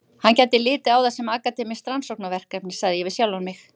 Hann gæti litið á það sem akademískt rannsóknarverkefni, sagði ég við sjálfan mig.